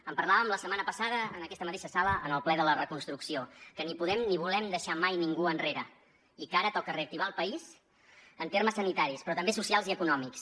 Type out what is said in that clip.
en parlàvem la setmana passada en aquesta mateixa sala en el ple de la reconstrucció que ni podem ni volem deixar mai ningú enrere i que ara toca reactivar el país en termes sanitaris però també socials i econòmics